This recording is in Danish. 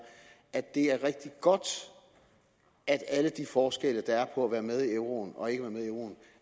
at det er rigtig godt at alle de forskelle der er på at være med i euroen og ikke